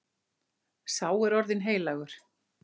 Sá er orðinn heilagur.